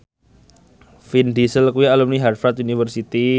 Vin Diesel kuwi alumni Harvard university